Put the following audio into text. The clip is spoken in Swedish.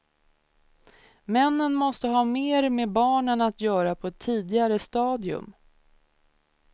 Männen måste ha mer med barnen att göra på ett tidigare stadium.